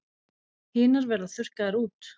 Hinar verða þurrkaðar út.